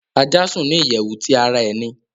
Aja sùn ni iyẹwu ti ara ẹni